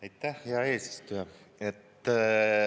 Aitäh, hea eesistuja!